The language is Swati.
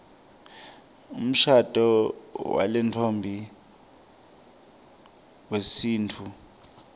umshado walentfombi wesintfu